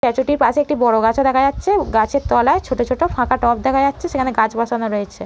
Statue টির পাশে একটি বড় গাছ ও দেখা যাচ্ছে। গাছের তলায় ছোট ছোট ফাঁকা টব দেখা যাচ্ছে। সেখানে গাছ বসানো রয়েছে।